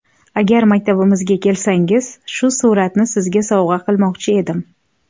Agar maktabimizga kelsangiz, shu suratni Sizga sovg‘a qilmoqchi edim”.